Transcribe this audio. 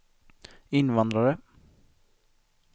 invandrare